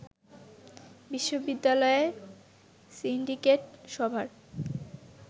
বিশ্ববিদ্যালয়ে সিন্ডিকেট সভার